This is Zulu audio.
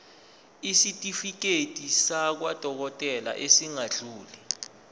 isitifiketi sakwadokodela esingadluli